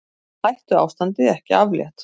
Hættuástandi ekki aflétt